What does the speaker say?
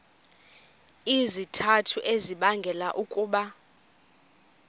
izizathu ezibangela ukuba